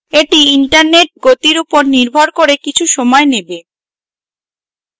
এটি internet গতির উপর নির্ভর করে কিছু সময় নেবে